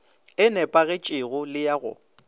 e nepagetšego le ya go